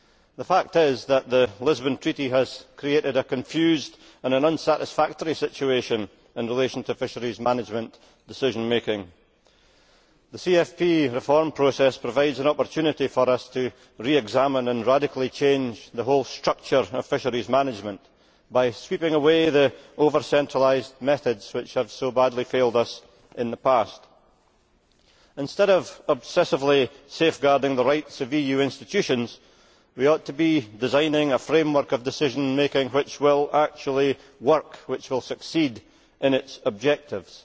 The fact is that the Lisbon Treaty has created a confused and unsatisfactory situation in relation to fisheries management decision making. The CFP reform process provides an opportunity for us to re examine and radically change the whole structure of fisheries management by sweeping away the over centralised methods which have so badly failed us in the past. Instead of obsessively safeguarding the rights of EU institutions, we ought to be designing a framework of decision making which will actually work, and which will succeed in its objectives.